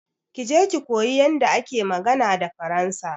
Je ki koyi yanda ake magana da faransa.